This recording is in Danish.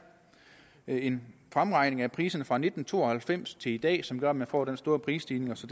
en fremregning af priserne fra nitten to og halvfems til i dag som gør at man får den store prisstigning så